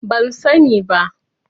Ban sani ba.